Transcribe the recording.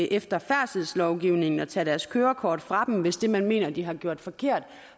efter færdselslovgivningen og tage deres kørekort fra dem hvis det man mener de har gjort forkert